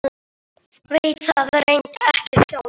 Veit það reyndar ekki sjálf.